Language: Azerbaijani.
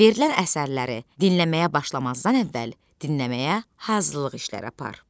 Verilən əsərləri dinləməyə başlamazdan əvvəl dinləməyə hazırlıq işləri apar.